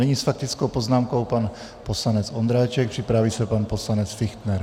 Nyní s faktickou poznámkou pan poslanec Ondráček, připraví se pan poslanec Fichtner.